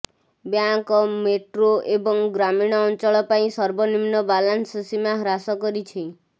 bank metro ଏବଂ ଗ୍ରାମୀଣ ଅଞ୍ଚଳ ପାଇଁ ସର୍ବନିମ୍ନ ବାଲାନ୍ସ ସୀମା ହ୍ରାସ କରିଛି